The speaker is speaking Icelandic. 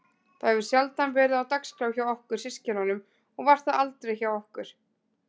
Það hefur sjaldan verið á dagskrá hjá okkur systkinunum og var það aldrei hjá okkur